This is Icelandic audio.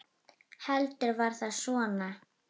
Heldur var það svona!